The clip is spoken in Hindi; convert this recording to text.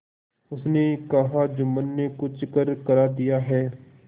उसने कहाजुम्मन ने कुछ करकरा दिया है